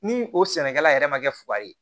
Ni o sɛnɛkɛla yɛrɛ ma kɛ fugari ye